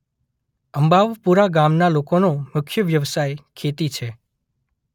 અંબાવપુરા ગામના લોકોનો મુખ્ય વ્યવસાય ખેતી છે.